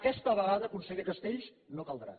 aquesta vegada conseller castells no caldrà